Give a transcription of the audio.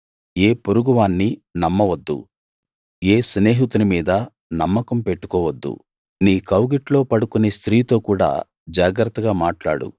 ఏ పొరుగువాన్నీ నమ్మవద్దు ఏ స్నేహితుని మీదా నమ్మకం పెట్టుకోవద్దు నీ కౌగిట్లో పడుకునే స్త్రీతో కూడా జాగ్రత్తగా మాట్లాడు